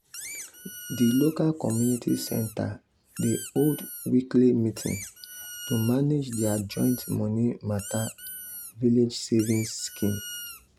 the local community center dey hold weekly meeting to manage their joint money matter village savings scheme.